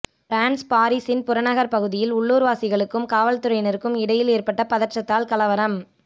France பாரிசின் புறநகர் பகுதியில் உள்ளூர்வாசிகளுக்கும் காவல்துறையினருக்கும் இடையில் ஏற்பட்ட பதற்றத்தால் கலவரம்